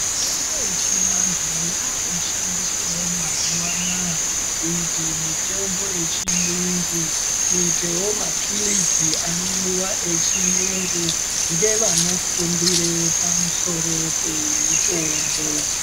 Mitombo yechivantu yakushandiswawo mazuva anaya kuita mitombo kuita mitombo yechiyungu kuitawo mapilizi anomwiwa echiyungu ngevanofundira pamusoro pemitombo.